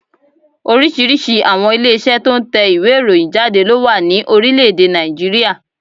Oríṣìíríṣìí àwọn ilé Iṣẹ́ tó n tẹ ìwé ìròyìn jáde ló wà ní Orílẹ̀dè Nàìjíríà